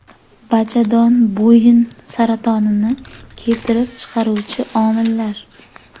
Bachadon bo‘yni saratonini keltirib chiqaruvchi omillar.